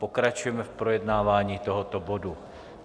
Pokračujeme v projednávání tohoto bodu.